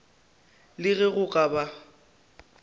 le ge go ka ba